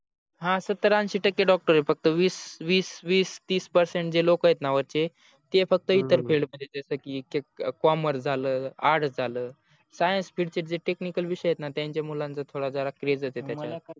हा सतर अंशी टक्के doctor आहेत फक्त वीस वीस तिस percentage जे लोक आहेतन वरचे ते फक्त इतर field मध्ये जसे की commerce झाल arts झालं science field चे जे technical विषय आहेतणा त्यांच्या मुलांचा थोडा जरा craze आहे त्याच्या मध्ये